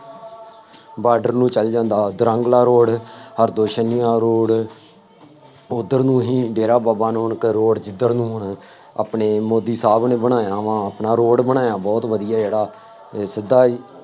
border ਨੂੰ ਚੱਲ ਜਾਂਦਾ ਵਾ, ਦੋਰੰਗਲਾ ਰੋਡ, ਹਰਦੋਸ਼ਨੀਆਂ ਰੋਡ, ਉੱਧਰ ਨੂੰ ਹੀ ਡੇਰਾ ਬਾਬਾ ਨਾਨਕ ਰੋਡ ਜਿੱਧਰ ਨੂੰ ਅਹ ਆਪਣੇ ਮੋਦੀ ਸਾਹਿਬ ਨੇ ਬਣਾਇਆ ਵਾ ਨਾ ਰੋਡ ਬਣਾਇਆ ਬਹੁਤ ਵਧੀਆ ਜਿਹੜਾ ਅਤੇ ਸਿੱਧਾ ਹੀ